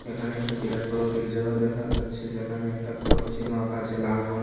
এখানে একটা বিরাট বড় গির্জা ঘর দেখা যাচ্ছে যেখানে একটা ক্রস চিহ্ন আঁকা আছে লাল রং--